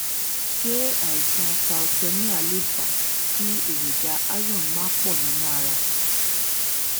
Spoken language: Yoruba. ṣé àìsàn thalessemia lè fa kí èròjà iron má pọ̀ nínú ara?